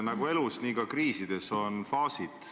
Nagu elus, nii ka kriisides on faasid.